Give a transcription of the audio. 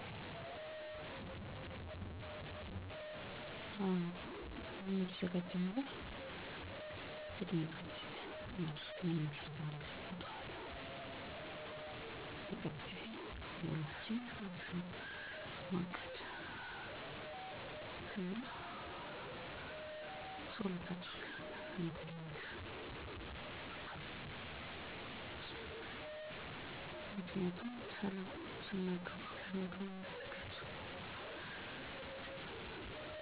አብዛኛውን ጊዜ ከአራት እስከ አምስት ሰዓት አካባቢ እተኛለሁ። ከመተኛቴ በፊት ከማደርጋቸው ተግባራት ውስጥ ከቤተሰቦቼ ጋር አንዳንድ ነገሮች ላይ ማውራት መጫወት ቴሌቪዥን ማየትና ፊልም ማየት እራት መብላት ቤት ውስጥ የሚሰሩ ስራዎች ካሉ መስራት ለቀጣይ ቀን ለጠዋት የሚዘጋጅ ነገሮች ካሉ ማዘጋጀት ከጓደኞቼ ጋር ስልክ ማውራትና የፅሁፍ መልዕክት መለዋወጥ መንፈሳዊ ይዘት ያላቸውን መፃሀፍቶችን ማንበብ በመጨረሻ ፀሎት አድርጌ መተኛት ነው።